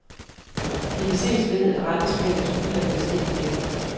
Det kan ses ved, at rentespændet til udlandet steg pænt.